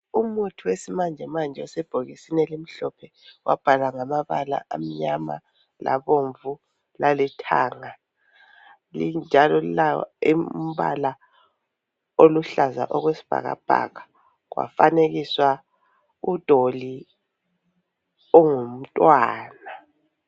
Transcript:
Umuthi wesimanjemanje osebhokisini elimhlophe. Wabhalwa ngamabala amnyama labomvu lalithanga. Linjalo lilawo umbala oluhlaza okwesibhakabhaka kwafanekiswa udoli ongumntwana.